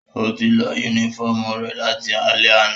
Ó ti lọ yúnífọ̀mù rẹ̀ láti alẹ́ àná